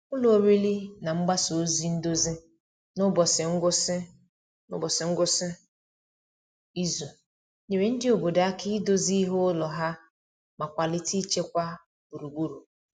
Ụlọ oriri na mgbasa ozi ndozi n’ụbọchị ngwụsị n’ụbọchị ngwụsị izu nyere ndị obodo aka idozi ihe ụlọ ha ma kwalite ịchekwa gburugburu.